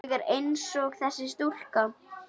Ég er einsog þessi stúlka.